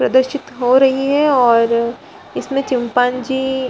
प्रदर्शित हो रही है और इसमें चिम्पांज़ी --